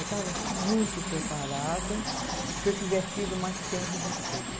Eu estava muito preparada se eu tivesse tido mais tempo de estudo.